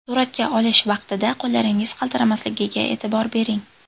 Suratga olish vaqtida qo‘llaringiz qaltiramasligiga e’tibor bering.